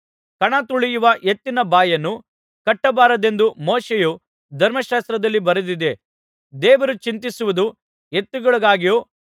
ಕಣತುಳಿಯುವ ಎತ್ತಿನ ಬಾಯನ್ನು ಕಟ್ಟಬಾರದೆಂದು ಮೋಶೆಯ ಧರ್ಮಶಾಸ್ತ್ರದಲ್ಲಿ ಬರೆದಿದೆ ದೇವರು ಚಿಂತಿಸುವುದು ಎತ್ತುಗಳಿಗಾಗಿಯೋ